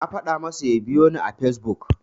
Na faɗa masa ya biyoni a Fesbuk.